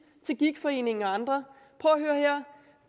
til gigtforeningen og andre